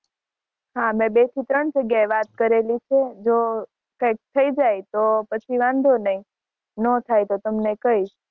હાં મેં બે થી ત્રણ જગ્યાએ વાત કરેલી છે. જો કઇંક થઈ જાય તો પછી વાંધો નહીં. જો નો થાય તો તમને કઈંશ.